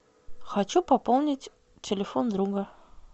хочу пополнить телефон друга